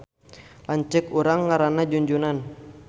Lanceuk urang ngaranna Junjunan